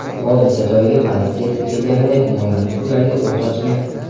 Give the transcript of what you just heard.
Hodisa joyiga politsiya yetib kelganida gumonlanuvchi ularga o‘t ochgan.